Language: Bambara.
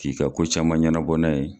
K'i ka ko caman ɲɛnabɔ n'a ye